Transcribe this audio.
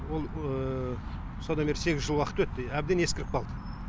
ол содан бері сегіз жыл уақыт өтті иә әбден ескіріп қалды